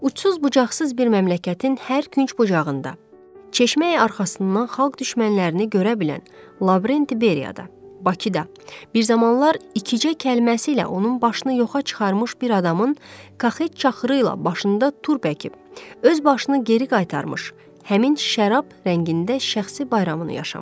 Uçsuz-bucaqsız bir məmləkətin hər künc bucağında, Çeşməyi arxasından xalq düşmənlərini görə bilən, Lavrenti Beriyada Bakıda bir zamanlar iki cək kəlməsi ilə onun başını yuxarı çıxarmış bir adamın kaxet çaxırı ilə başında turb əkib, öz başını geri qaytarmış, həmin şərab rəngində şəxsi bayramını yaşamışdı.